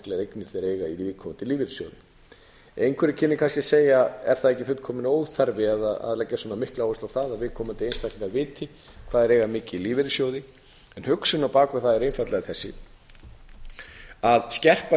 eignir þeir eiga í viðkomandi lífeyrissjóði einhver kynni kannski að segja er það ekki fullkominn óþarfi að leggja svona mikla áherslu á það að viðkomandi einstaklingar viti hvað þeir eiga mikið í lífeyrissjóði hugsunin á bak við það er einfaldlega sú að skerpa